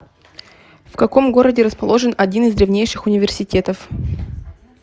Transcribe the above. в каком городе расположен один из древнейших университетов